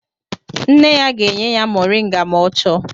Nne ya ga-enye ya moringa ma ọ chọọ